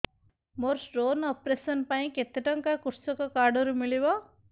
ମୋର stone operation ପାଇଁ କେତେ ଟଙ୍କା କୃଷକ କାର୍ଡ ରୁ ମିଳିବ